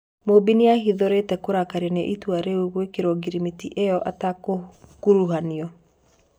Mũmbi nĩahithũrĩtie kũrakario nĩ ĩtua rĩa gwĩkĩrwo ngirimiti ĩyo ategũkuruhanio.